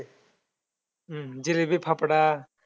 हम्म जिलेबी फाफडा